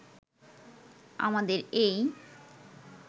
আমাদের এই